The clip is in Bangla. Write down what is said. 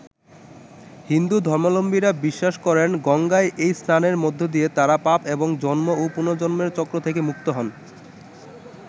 হিন্দু ধর্মাবলম্বীরা বিশ্বাস করেন গঙ্গায় এই স্নানের মধ্য দিয়ে তাঁরা পাপ এবং জন্ম ও পুনর্জন্মের চক্র থেকে মুক্ত হন।